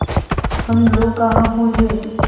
हम लोग कहाँ होंगे